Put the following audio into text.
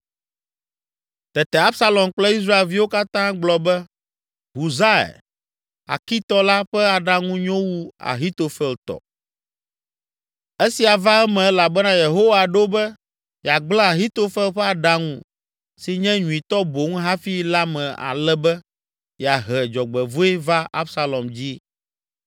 Tete Absalom kple Israelviwo katã gblɔ be, “Husai, Arkitɔ la ƒe aɖaŋu nyo wu Ahitofel tɔ.” Esia va eme elabena Yehowa ɖo be, yeagblẽ Ahitofel ƒe aɖaŋu, si nye nyuitɔ boŋ hafi la me ale be yeahe dzɔgbevɔ̃e va Absalom dzi.